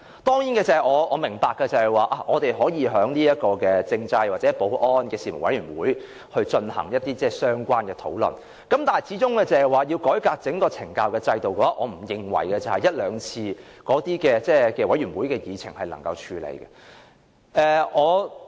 當然，我明白我們可以在政制事務委員會或保安事務委員會進行相關討論，但要改革整個懲教的制度，我不認為一兩次委員會的議程能夠處理。